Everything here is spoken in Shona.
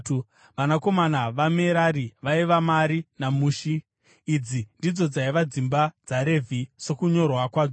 Vanakomana vaMerari vaiva Mari naMushi. Idzi ndidzo dzaiva dzimba dzaRevhi sokunyorwa kwadzo.